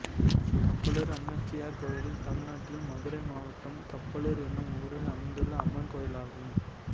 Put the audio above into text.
கப்பலூர் அம்மச்சியார் கோயில் தமிழ்நாட்டில் மதுரை மாவட்டம் கப்பலூர் என்னும் ஊரில் அமைந்துள்ள அம்மன் கோயிலாகும்